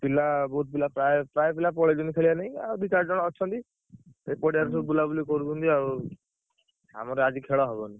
ପିଲା ବହୁତ୍ ପିଲା ପ୍ରାୟ ପ୍ରାୟ ପିଲା ପଳେଇଛନ୍ତି ଖେଳିଆ ନାଗି ଆଉ ଦି ଚାରି ଜଣ ଅଛନ୍ତି। ସେ ପଡିଆରେ ସବୁ ବୁଲାବୁଲି କରୁଛନ୍ତି ଆଉ। ଆମର ଆଜି ଖେଳ ହବନି।